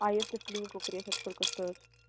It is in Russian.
а если в клинику приехать сколько стоит